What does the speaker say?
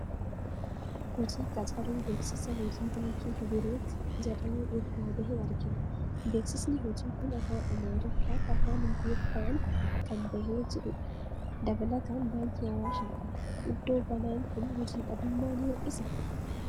Hojii qacaruu beeksisa hojii baankii Hibireet jedhamu irraa bahe argina. Beeksisni hojii kun afaan Amaariffaa f Afaan Ingiliffaan kan bahee jiru dha. Dabalaatan baankii Awaash argina. Iddoo banaan kun hojii dhabdummaa ni hir'isaa?